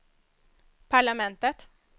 parlamentet